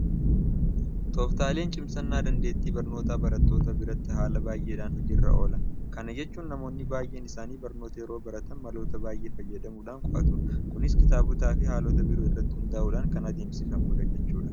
Tooftaaleen cimsannaa dandeettii barnootaa barattoota biratti haala baay'eedhaan hojii irra oola. Kana jechuun namoonni baay'een isaanii barnoota yeroo baratan maloota baay'ee fayyadamuudhaan qo'atu. Kunis kitaabotaafi haalota biraa irratti hundaa'uudhaan kan adeemsifamudha jechuudha.